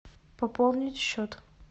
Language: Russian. пополнить счет